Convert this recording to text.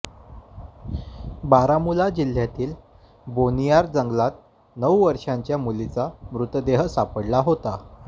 बारामुल्ला जिल्ह्यातील बोनियार जंगलात नऊ वर्षांच्या मुलीचा मृतदेह सापडला होता